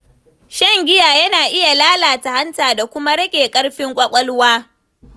Shan giya yana iya lalata hanta da kuma rage ƙarfin ƙwaƙwalwa.